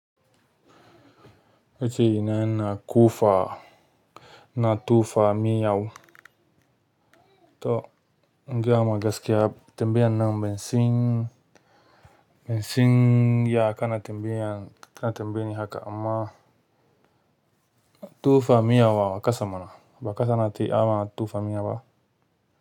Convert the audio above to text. Nace ina ƙofa, ina tofa miya to in gaya ma gaskiya tambaya nan bansan, bansan ya kana tambaya, kana tambayeni haka amma bari tofa miyau a ƙasa mana, ba a kasa a ti ama tofa miya ba.